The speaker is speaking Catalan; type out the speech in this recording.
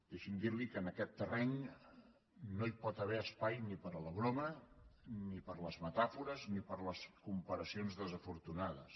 deixi’m dir li que en aquest terreny no hi pot haver espai ni per a la broma ni per a les metàfores ni per a les comparacions desafortunades